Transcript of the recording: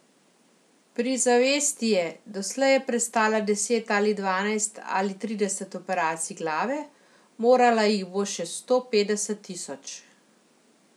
Pri zavesti je, doslej je prestala deset ali dvanajst ali trideset operacij glave, morala jih bo še sto petdeset tisoč.